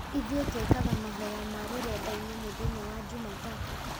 Ithuĩ twĩkaga mahoya ma rũrenda-inĩ mũthenya wa jumatatũ